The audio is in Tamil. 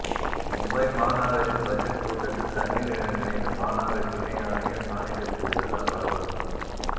மும்பை மாநகராட்சி பட்ஜெட் கூட்டத்தில் தண்ணீர் என நினைத்து மாநகராட்சி இணை ஆணையர் சானிடைசர் குடித்ததால் பரபரப்பு